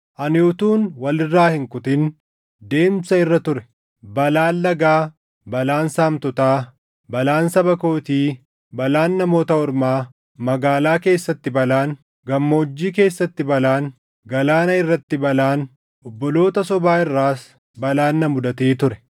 ani utuun wal irraa hin kutin deemsa irra ture. Balaan lagaa, balaan saamtotaa, balaan saba kootii, balaan Namoota Ormaa, magaalaa keessatti balaan, gammoojjii keessatti balaan, galaana irratti balaan, obboloota sobaa irraas balaan na mudatee ture.